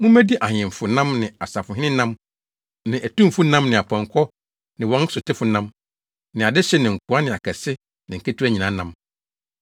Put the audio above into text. Mummedi ahemfo nam ne asafohene nam ne atumfo nam ne apɔnkɔ ne wɔn sotefo nam ne adehye ne nkoa ne akɛse ne nketewa nyinaa nam.”